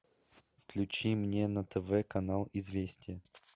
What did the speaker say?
включи мне на тв канал известия